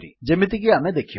ଯେମିତି କି ଆମେ ଦେଖିବା